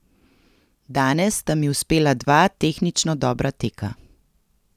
Danes sta mi uspela dva tehnično dobra teka.